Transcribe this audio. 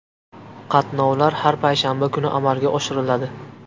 Qatnovlar har payshanba kuni amalga oshiriladi.